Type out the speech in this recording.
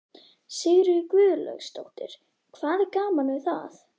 Sigríður Guðlaugsdóttir: Hvað er gaman við það?